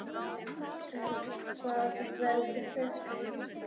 En hvað veldur þessu?